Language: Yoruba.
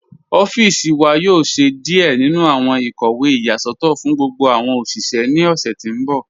Ọffíṣì wà yóò ṣẹ̀ díẹ̀ nínu awọn ikọwe iyasọtọ fún gbogbo awọn oṣiṣẹ̀ ní ọṣẹ̀ tí n bọ̀.